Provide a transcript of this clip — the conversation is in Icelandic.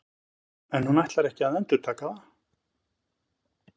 En ætlar hún ekki að endurtaka það?